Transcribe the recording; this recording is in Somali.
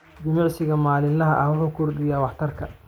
Jimicsiga maalinlaha ah wuxuu kordhiyaa waxtarka.